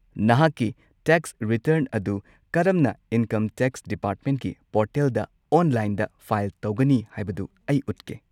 ꯅꯍꯥꯛꯀꯤ tax return ꯑꯗꯨ ꯀꯔꯝꯅ ꯏꯟꯀꯝ ꯇꯦꯛꯁ ꯗꯤꯄꯥꯔꯠꯃꯦꯟꯠꯀꯤ ꯄꯣꯔꯇꯦꯜꯗ ꯑꯣꯟꯂꯥꯏꯟꯗ ꯐꯥꯏꯜ ꯇꯧꯒꯅꯤ ꯍꯥꯏꯕꯗꯨ ꯑꯩ ꯎꯠꯀꯦ꯫